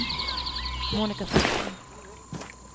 Monika Forsman